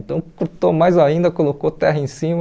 Então, cortou mais ainda, colocou terra em cima.